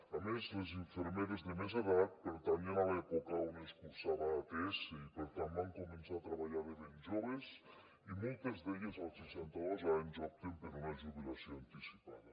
a més les infermeres de més edat pertanyen a l’època on ens cursava ats i per tant van començar a treballar de ben joves i moltes d’elles als seixanta dos anys opten per una jubilació anticipada